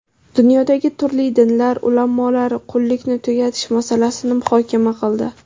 Dunyodagi turli dinlar ulamolari qullikni tugatish masalasini muhokama qildi.